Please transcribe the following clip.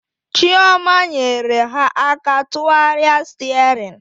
Chioma nyere ha aka tụgharịa sterin